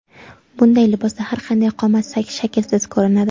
Bunday libosda har qanday qomat shaklsiz ko‘rinadi.